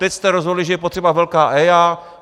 Teď jste rozhodli, že je potřeba velká EIA.